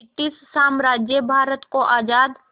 British साम्राज्य भारत को आज़ाद